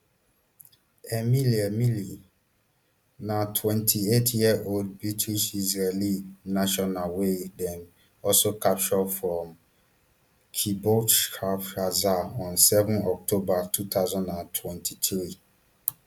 emily emily na twenty-eightyearold britishisraeli national wey dem also capture from kibbutz kfar aza on seven october two thousand and twenty-three